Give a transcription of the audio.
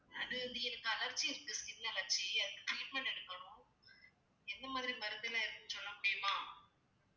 எனக்கு allergy இருக்கு skin allergy அதுக்கு treatment எடுக்கணும் என்ன மாதிரி மருந்து எல்லாம் இருக்குன்னு சொல்ல முடியுமா